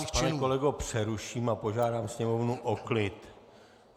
Já vás, pane kolego, přeruším a požádám sněmovnu o klid.